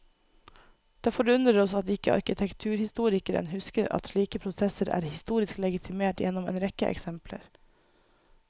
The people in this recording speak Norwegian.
Det forundrer oss at ikke arkitekturhistorikeren husker at slike prosesser er historisk legitimert gjennom en rekke eksempler.